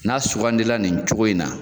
N'a sugandi la nin cogo in na